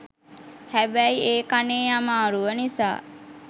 හැබැයි ඒ කනේ අමාරුව නිසා